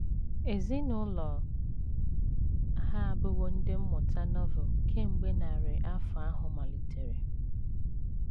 Ezinụlọ ha abụwo Ndị Mmụta Novel kemgbe narị afọ ahụ malitere.